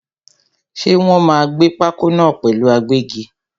Ṣé Wòn máa gbẹ́ pákó náà pẹ̀lú agbẹ́gi?